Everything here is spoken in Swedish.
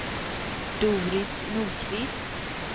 Doris Nordqvist